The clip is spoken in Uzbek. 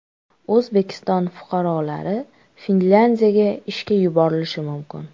O‘zbekiston fuqarolari Finlyandiyaga ishga yuborilishi mumkin.